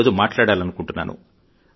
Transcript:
ఈరోజు మాట్లాడాలనుకుంటున్నాను